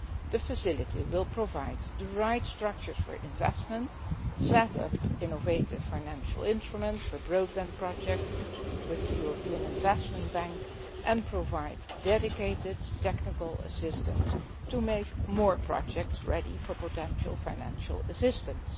The facility will provide the right structures for investment, set up innovative financial instruments for broadband projects with the European Investment Bank, and provide dedicated technical assistance to make more projects ready for potential financial assistance.